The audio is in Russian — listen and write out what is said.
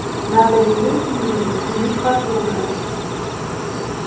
надо велеть ей затянуть потуже